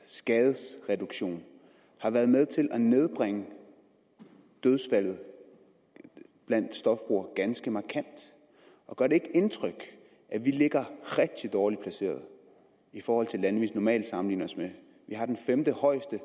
skadesreduktion har været med til at nedbringe antallet af dødsfald blandt stofbrugere ganske markant og gør det ikke indtryk at vi ligger rigtig dårligt placeret i forhold til lande vi normalt sammenligner os med vi har den femtehøjeste